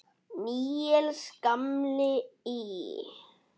Níels gamli í